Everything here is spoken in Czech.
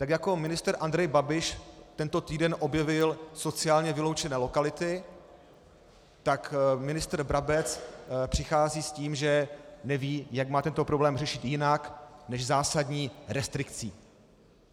Tak jako ministr Andrej Babiš tento týden objevil sociálně vyloučené lokality, tak ministr Brabec přichází s tím, že neví, jak má tento problém řešit jinak než zásadní restrikcí.